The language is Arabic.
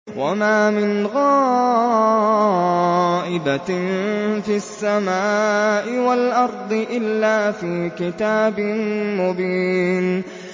وَمَا مِنْ غَائِبَةٍ فِي السَّمَاءِ وَالْأَرْضِ إِلَّا فِي كِتَابٍ مُّبِينٍ